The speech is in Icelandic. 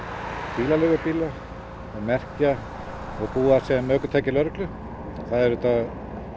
bílaleigubíla og merkja og búa sem ökutæki lögreglu og það er auðvitað